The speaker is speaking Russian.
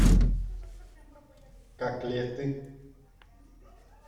котлеты